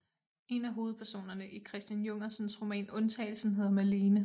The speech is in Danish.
En af hovedpersonerne i Christian Jungersens roman Undtagelsen hedder Malene